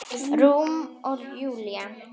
Rúm Júlíu.